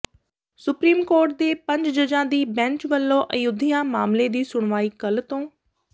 supreme court ਦੇ ਪੰਜ ਜੱਜਾਂ ਦੀ ਬੈਂਚ ਵੱਲੋਂ ਅਯੁਧਿਆ ਮਾਮਲੇ ਦੀ ਸੁਣਵਾਈ ਕੱਲ ਤੋਂ